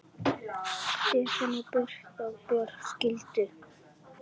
Stefán og Birna Björg skildu.